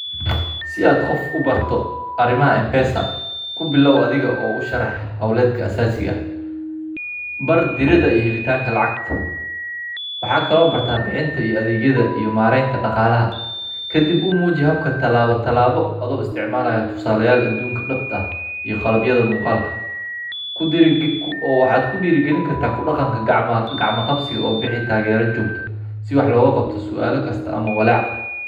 Si aad qof ubarto arimaha mpesa kubilaaw adhiga oo usharaxa hooladka aasaasiga bar dirida iyo helitaanka lacagta waxaa kale oo bartaa bixinta iyo adheegyadha iyo maareynta daqaalaha kadib umuuji habka talaabo talaabo adhigo isticmaalaaya tusaale yaal adunka dabta ah iyo qalabyadha muqaalka waxaad kudiiri galin karta kudaqanka gacma qabsi oo bixi taagera joogta si wax looga qabta suaala kasta ama walaac.